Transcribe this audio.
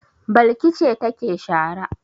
Balki ce take shara.